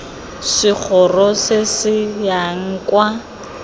segoro se se yang kwa